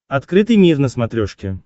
открытый мир на смотрешке